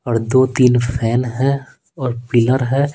और दो-तीन फैन हैऔर पिलर है।